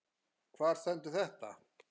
Hvar stendur þetta?